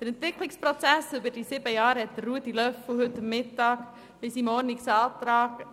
Den Entwicklungsprozess während dieser sieben Jahre hat Grossrat Löffel-Wenger heute Mittag im Rahmen seines Ordnungsantrags